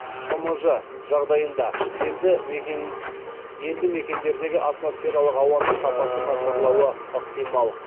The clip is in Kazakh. қмж жағдайында елді мекендердегі атмосфералық ауаның сапасы нашарлауы ықтимал